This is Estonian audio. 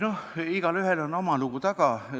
Igaühel on oma lugu taga.